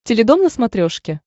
теледом на смотрешке